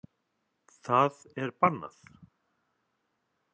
Það er bannað.